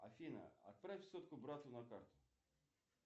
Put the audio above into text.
афина отправь сотку брату на карту